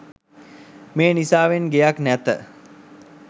මේ නිසාවෙන් ගෙයක් නැත